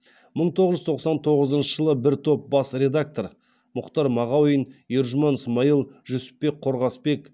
мың тоғыз жүз тоқсан тоғызыншы жылы бір топ бас редактор мұқтар мағауин ержұман смайыл жүсіпбек қорғасбек